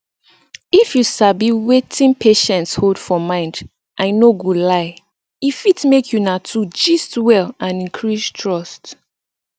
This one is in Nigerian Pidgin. if you sabiwetin patients hold for mind i no go lie e fit make una two gist well and increase trust